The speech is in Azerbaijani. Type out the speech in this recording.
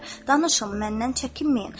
Danışın, məndən çəkinməyin.